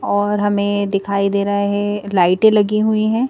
और हमें दिखाई दे रहा है लाइटें लगी हुई हैं।